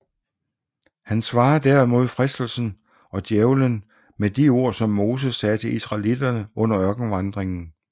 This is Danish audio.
Han svarer derimod fristelsen og Djævelen med de ord som Moses sagde til israellitterne under ørkenvandringen